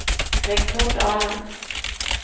Rigmor Dahlen